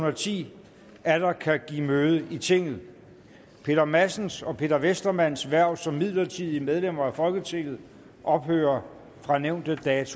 og ti atter kan give møde i tinget peter madsens og peter westermanns hverv som midlertidige medlemmer af folketinget ophører fra nævnte dato